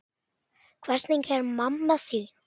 Hvernig er mamma þín?